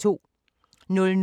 DR1